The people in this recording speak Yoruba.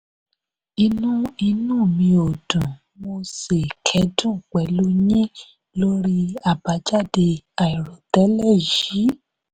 inú inú mi ò dùn mo sì kẹ́dùn pẹ̀lú yín lórí àbájáde àìròtẹ́lẹ̀ yìí.